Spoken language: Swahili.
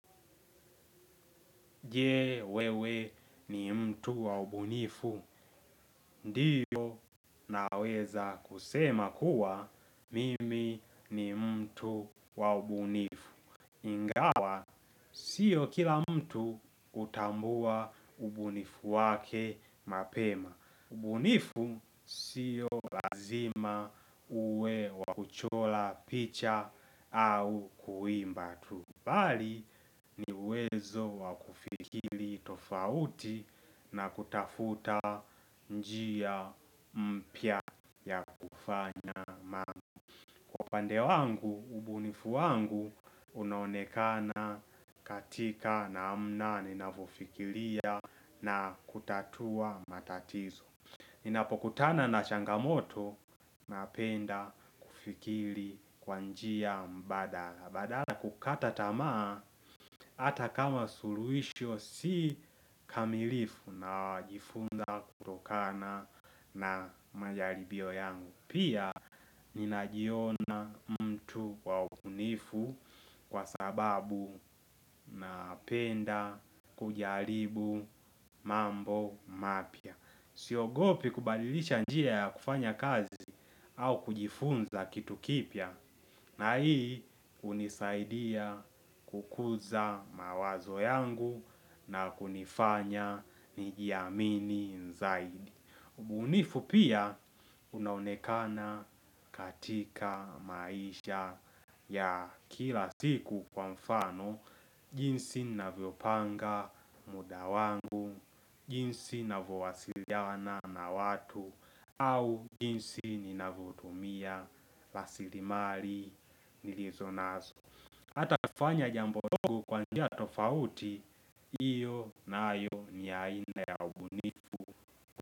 Je wewe ni mtu wa ubunifu. Ndiyo naweza kusema kuwa mimi ni mtu wa ubunifu. Ingawa, sio kila mtu hutambua ubunifu wake mapema. Ubunifu sio lazima uwe wakuchora picha au kuimba tu. Bali ni uwezo wa kufikiri tofauti na kutafuta njia mpya ya kufanya. Kwa upande wangu, ubunifu wangu, unaonekana katika namna ninavofikiria na kutatua matatizo. Ninapokutana na changamoto, napenda kufikiri kwa njia mbadala. Badala kukata tamaa hata kama suluhisho si kamilifu najifunza kutokana na majaribio yangu. Pia ninajiona mtu wa ubunifu kwa sababu napenda kujaribu mambo mapya. Siogopi kubadilisha njia ya kufanya kazi au kujifunza kitu kipya. Na hii hunisaidia kukuza mawazo yangu na kunifanya nijiamini zaidi. Mbunifu pia unaonekana katika maisha ya kila siku kwa mfano jinsi navyopanga muda wangu, jinsi navowasiliana na watu, au jinsi ninavotumia rasilimali nilizonazo hata kufanya jambo dogo kwa njia tofauti hiyo nayo ni aina ya ubunifu.